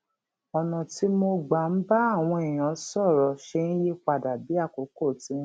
ònà tí mo gbà ń bá àwọn èèyàn sòrò ṣe ń yí padà bí àkókò ti ń lọ